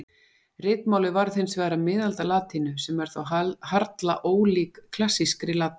Ritmálið varð hins vegar að miðaldalatínu sem þó er harla ólík klassískri latínu.